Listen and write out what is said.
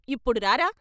ఇప్పుడు రారా....